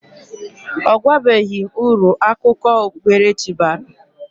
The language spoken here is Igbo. Ọ gwabeghi m uru akụkọ okpukpere chi bara.